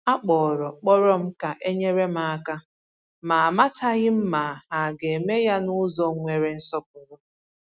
A kpọrọ kpọrọ m ka e nyere m aka, ma amachaghị m ma ha ga-eme ya n’ụzọ nwere nsọpụrụ